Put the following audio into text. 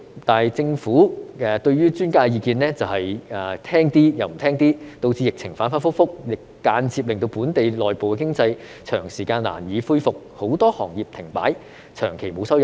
但是，政府對於專家的意見是聽一點，不聽一點，導致疫情反反覆覆，間接令本地內部經濟長時間難以恢復，很多行業停擺，長期沒有收入。